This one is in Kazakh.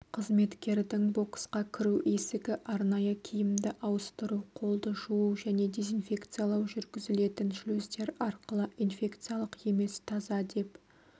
қызметкердің боксқа кіру есігі арнайы киімді ауыстыру қолды жуу және дезинфекциялау жүргізілетін шлюздер арқылы инфекциялық емес таза деп